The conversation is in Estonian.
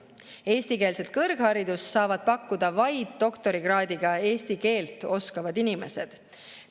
Eestikeelset kõrgharidust saavad pakkuda vaid doktorikraadiga eesti keelt oskavad inimesed.